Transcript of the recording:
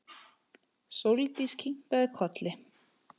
Sóldís kinkaði kolli.